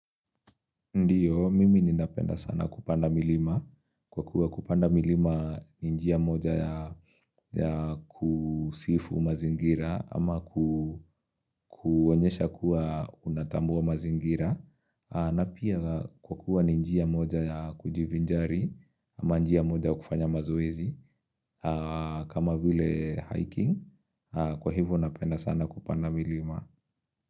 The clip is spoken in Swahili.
Ndiyo, mimi ninapenda sana kupanda milima. Kwa kuwa kupanda milima ni njia moja ya kusifu mazingira ama kuonyesha kuwa unatambua mazingira. Na pia kwa kuwa ni njia moja ya kujivinjari ama njia moja ya kufanya mazoezi kama vile hiking. Kwa hivyo napenda sana kupanda milima.